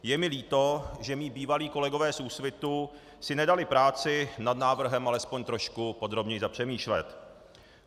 Je mi líto, že mí bývalí kolegové z Úsvitu si nedali práci nad návrhem alespoň trošku podrobněji zapřemýšlet.